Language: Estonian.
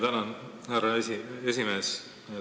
Tänan, härra aseesimees!